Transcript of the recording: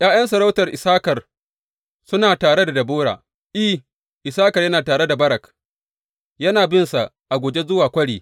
’Ya’yan sarautar Issakar suna tare da Debora; I, Issakar yana tare da Barak, yana binsa a guje zuwa kwari.